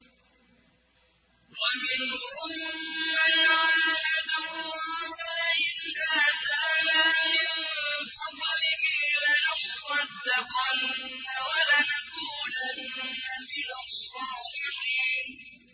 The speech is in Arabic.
۞ وَمِنْهُم مَّنْ عَاهَدَ اللَّهَ لَئِنْ آتَانَا مِن فَضْلِهِ لَنَصَّدَّقَنَّ وَلَنَكُونَنَّ مِنَ الصَّالِحِينَ